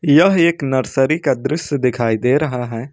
यह एक नर्सरी का दृश्य दिखाई दे रहा है।